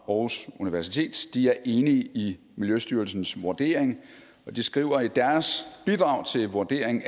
aarhus universitet er enig i miljøstyrelsens vurdering og de skriver i deres bidrag til vurdering